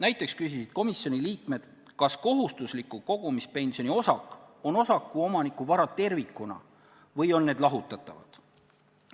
Näiteks küsisid komisjoni liikmed, kas kohustusliku kogumispensioni osak on osaku omaniku vara tervikuna või on need lahutatavad.